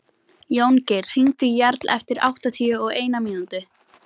Jóngeir, hringdu í Jarl eftir áttatíu og eina mínútur.